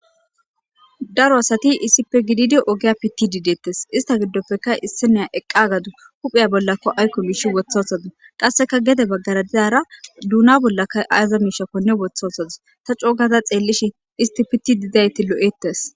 Daro asati issippe gididi ogaya bitidi detese ista gidopekka issiniya eqadusu huphiya bolla aykko misha wotha wothadus qasekka gede bagara dizara duna bollakka aza mishakkone wotha wothadus ta co gada xelishin isti bitide dizayti lol'etes